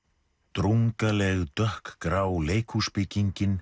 drungaleg dökkgrá